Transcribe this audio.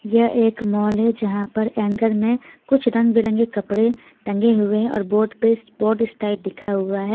यह एक मॉल है जहां पर एंकर में कुछ रंग-बिरंगे कपड़े टंगे हुए हैं और बोट पे पोस्ट स्टाइल लिखा हुआ है.